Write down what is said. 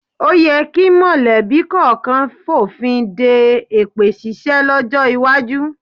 O yẹ kí mọ̀lẹ́bí kọ̀ọ̀kan fònfin de èpè ṣíṣe lọ́jọ́ iwájú